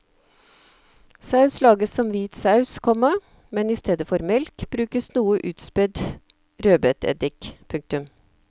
Saus lages som hvit saus, komma men i stedet for melk brukes noe utspedd rødbeteddik. punktum